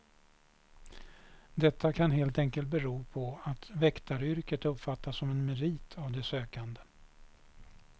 Detta kan helt enkelt bero på att väktaryrket uppfattas som en merit av de sökande.